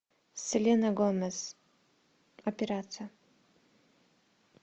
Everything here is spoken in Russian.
селена гомес операция